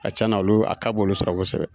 A ka cana olu a ka b'olu sago sɔrɔ.